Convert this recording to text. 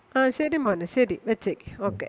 ആ ശരി മോനെ ശരി വെച്ചേക്ക് okay.